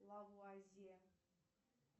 лавразия